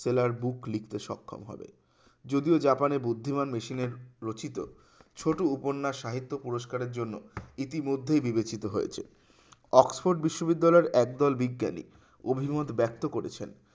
sailor book লিখতে সক্ষম হবে যদিও জাপানে বুদ্ধিমান মেশিনের রচিত ছোট উপন্যাস সাহিত্য পুরস্কারের জন্য ইতিমধ্যেই বিবেচিত হয়েছে অক্সফোর্ড বিশ্ববিদ্যালয় একদল বিজ্ঞানী অভিমত ব্যক্ত করেছেন